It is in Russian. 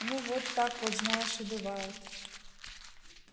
ну вот так вот знаешь и бывает